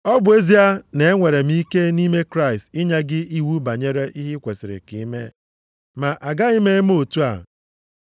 Ọ bụ ezie na-enwere m ike nʼime Kraịst inye gị iwu banyere ihe kwesiri ka i mee, ma agaghị m eme otu a.